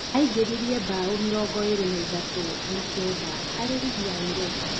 Aingĩririe mbaũ mĩrongo ĩĩrĩ na ithatũ na kenda harĩ rigi ya Europa